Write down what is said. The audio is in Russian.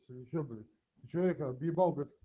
ты мне че блять ты че мне когда въебал блять